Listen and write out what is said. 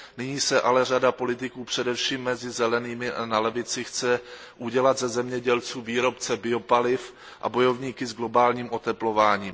Nyní ale řada politiků, především mezi Zelenými a z řad levice, chce udělat ze zemědělců výrobce biopaliv a bojovníky s globálním oteplováním.